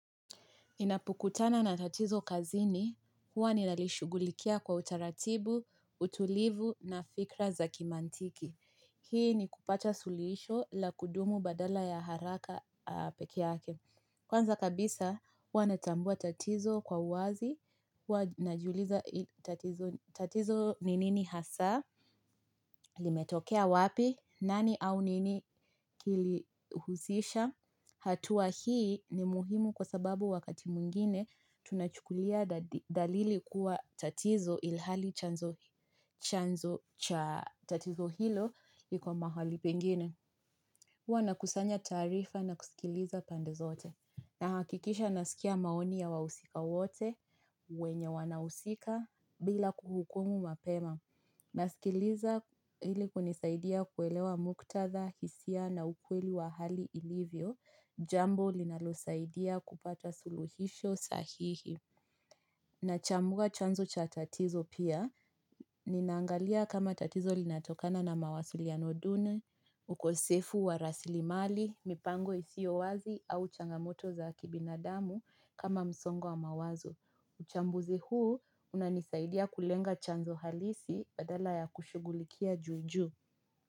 Ninapokutana na tatizo kazini, huwa ninalishughulikia kwa utaratibu, utulivu na fikra za kimantiki. Hii nikupata suluhisho la kudumu badala ya haraka peke yake. Kwanza kabisa, huwa natambua tatizo kwa uwazi, huwa najiuliza tatizo ni nini hasa, limetokea wapi, nani au nini kilihuzisha. Hatua hii ni muhimu kwa sababu wakati mwingine tunachukulia dalili kuwa tatizo ilhali chanzo cha tatizo hilo liko mahali pengine. Huwa nakusanya taarifa na kusikiliza pande zote. Na hakikisha nasikia maoni ya wahusika wote, wenye wanahusika, bila kuhukumu mapema. Nasikiliza ili kunisaidia kuelewa muktadha, hisia na ukweli wa hali ilivyo, jambo linalosaidia kupata suluhisho sahihi na chambua chanzo cha tatizo pia, ninaangalia kama tatizo linatokana na mawasiliano duni, ukosefu wa rasilimali, mipango isiyo wazi au changamoto za kibinadamu kama msongo mawazo uchambuzi huu unanisaidia kulenga chanzo halisi badala ya kushugulikia juujuu.